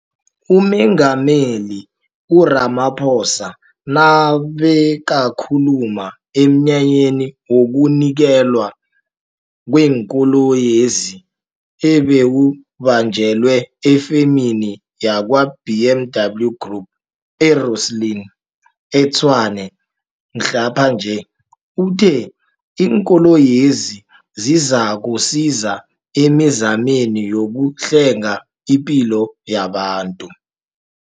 UMengameli u-Ramaphosa nabekakhuluma emnyanyeni wokunikelwa kweenkoloyezi, ebewubanjelwe efemini ya kwa-BMW Group e-Rosslyn, e-Tshwane mhlaphanje, uthe iinkoloyezi zizakusiza emi zameni yokuhlenga ipilo yabantu.